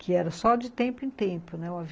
que era só de tempo em tempo, né, o avi